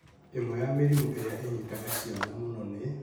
Ĩmwe ya mĩrimũ ĩrĩa ĩnyitaga ciana mũno nĩ: